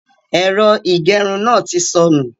Ẹ̀rọ ìgerun náà ti sọnù.